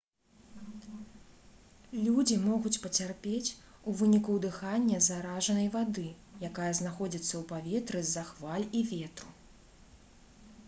людзі могуць пацярпець у выніку ўдыхання заражанай вады якая знаходзіцца ў паветры з-за хваль і ветру